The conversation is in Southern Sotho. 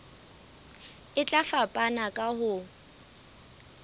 e tla fapana ka ho